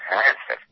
হ্যাঁ স্যার